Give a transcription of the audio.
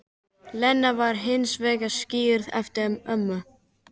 Lena var hins vegar skírð eftir ömmu